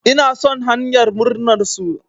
Ina son hanyar murnar su.